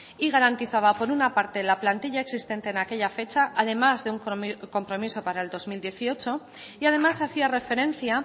y garantizaba por una parte la plantilla existente en aquella fecha además de un compromiso para el dos mil dieciocho y además hacía referencia